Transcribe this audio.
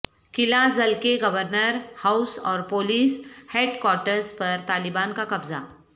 قلعہ زل کے governor house اور پولیس ہیڈکوارٹرز پر طالبان کاقبضہ